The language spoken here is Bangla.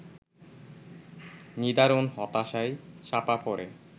নিদারুণ হতাশায় চাপা পড়ে